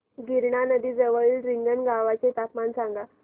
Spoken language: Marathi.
गिरणा नदी जवळील रिंगणगावाचे तापमान सांगा